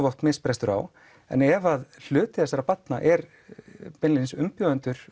oft misbrestur á en ef að hluti þessara barna eru beinlínis umbjóðendur